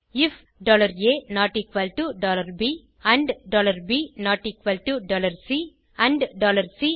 ifaப் and P C and C ah